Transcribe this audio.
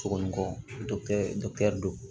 Sogo ni kɔkɔ don